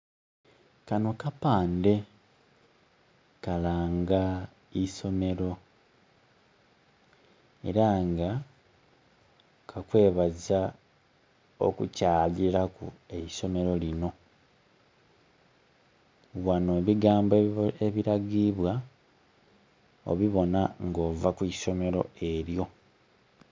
Kano kapandhe kalanga iisomero era nga kakwebaza okukyalilaku eisomero lino. Ghano ebigambo ebilagibwa obibona nga ova kwisomero eryo.